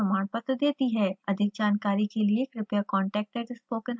online test pass करने वालों को प्रमाणपत्र देती है